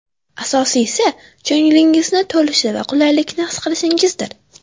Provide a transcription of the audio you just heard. Asosiysi, ko‘nglingiz to‘lishi va qulaylikni his qilishingizdir.